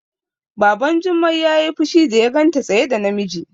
Baban Jummai yayi fushi da ya ganta tsaye da namiji